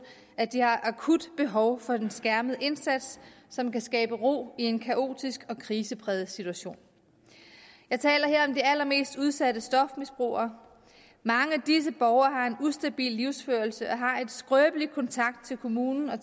at de har akut behov for en skærmet indsats som kan skabe ro i en kaotisk og krisepræget situation jeg taler her om de allermest udsatte stofmisbrugere mange af disse borgere har en ustabil livsførelse og har en skrøbelig kontakt til kommunen og